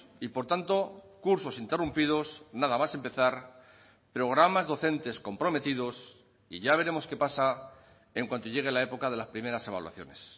y por tanto cursos interrumpidos nada más empezar programas docentes comprometidos y ya veremos qué pasa en cuanto llegue la época de las primeras evaluaciones